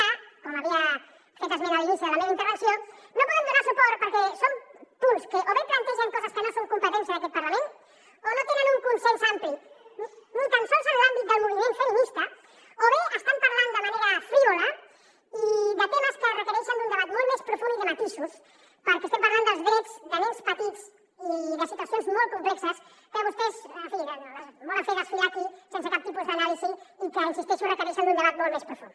a com havia fet esment a l’inici de la meva intervenció no hi podem donar suport perquè són punts que o bé plantegen coses que no són competència d’aquest parlament o no tenen un consens ampli ni tan sols en l’àmbit del moviment feminista o bé estan parlant de manera frívola de temes que requereixen un debat molt més profund i de matisos perquè estem parlant dels drets de nens petits i de situacions molt complexes que vostès en fi volen fer desfilar aquí sense cap tipus d’anàlisi i que hi insisteixo requereixen un debat molt més profund